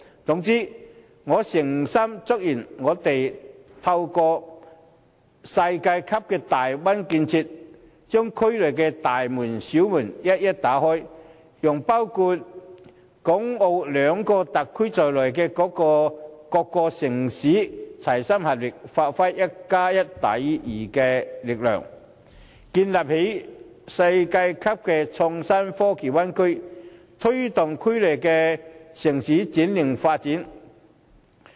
總之，我誠心祝願我們透過這世界級的大灣區建設，把區內的大門、小門一一打開，讓包括港澳兩個特區在內的各個城市，齊心合力發揮"一加一大於二"的力量，建立世界級的創新科技灣區，推動區內城市轉型發展。